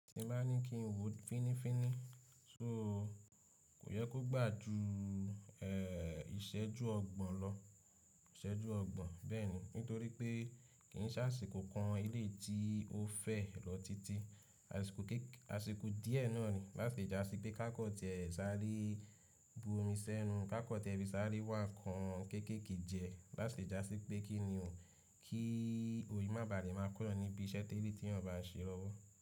Kí bá ní kí n wo finifini, so, kò yẹ kó gba ju ìṣẹ́jú ọgbọ̀n lọ, ìṣẹ́jú ọgbọ̀n bẹ́ẹ̀ ni. Nitori pe ki s'asiko kan eleyii ti o fe lọ titi, asiko kek, asiko diẹ naa ni lati le ja si pe kakọn tiẹ s’are bu omi sẹnu, kakọ tiẹ fi s’are wa nkan kekeeke jẹ, lati le ja si pe kini o, ki oyi ma ba de ma kó'yan nibi ise teeli ti eeyan ba n ṣe lowo.